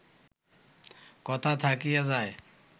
কথা থাকিয়া যায়